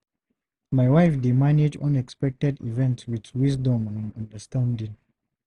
My wife dey manage unexpected events with wisdom and understanding.